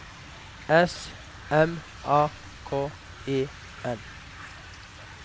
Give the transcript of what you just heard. S M A K E N